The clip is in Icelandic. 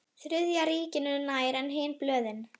Allir sæfarendur þurftu að gæta sín á Austfjarðaþokunni.